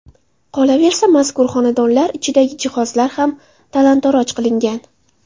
Qolaversa, mazkur xonadonlar ichidagi jihozlar ham talon-toroj qilingan.